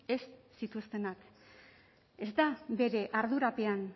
ez zituztenak ez da bere ardurapean